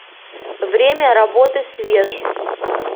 время работы свежъ